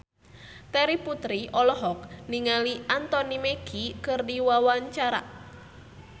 Terry Putri olohok ningali Anthony Mackie keur diwawancara